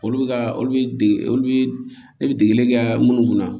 Olu bɛ ka olu dege olu bɛ degeli kɛ minnu kunna